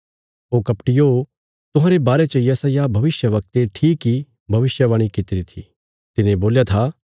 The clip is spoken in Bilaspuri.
ओ कपटियो तुहांरे बारे च यशायाह भविष्यवक्ते ठीक इ भविष्यवाणी कित्तिरी थी तिने बोल्या था